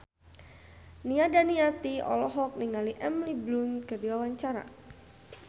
Nia Daniati olohok ningali Emily Blunt keur diwawancara